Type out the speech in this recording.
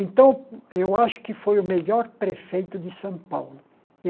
Então, eu acho que foi o melhor prefeito de São Paulo.